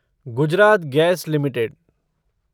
Gujarat Gas limited